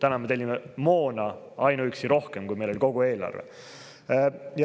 Nüüd me tellime ainuüksi moona rohkem, kui oli kogu eelarve.